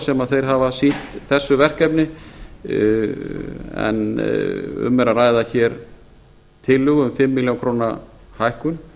sem þeir hafa sýnt þessu verkefni en um er að ræða tillögu um fimm milljónir króna hækkun